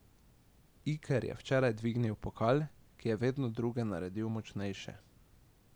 Iker je včeraj dvignil pokal, ki je vedno druge naredil močnejše.